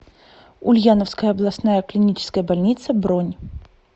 ульяновская областная клиническая больница бронь